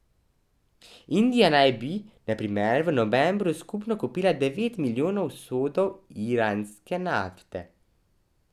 Indija naj bi, na primer, v novembru skupno kupila devet milijonov sodov iranske nafte.